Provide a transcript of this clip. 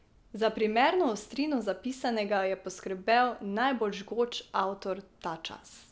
Za primerno ostrino zapisanega je poskrbel najbolj žgoč avtor ta čas.